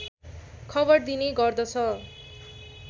खबर दिने गर्दछ